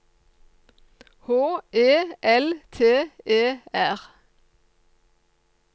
H E L T E R